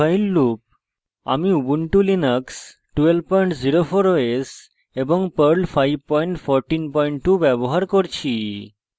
dowhile loop আমি ubuntu linux 1204 os এবং perl 5142 ব্যবহার করছি